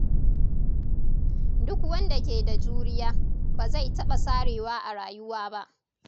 Duk wanda ke da juriya, ba zai taɓa sarewa a rayuwa ba.